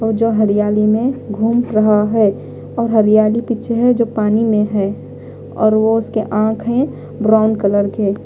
और जो हरियाली में घूम रहा है और हरियाली पीछे है जो पानी में है और वो उसके आंख है ब्राउन कलर के।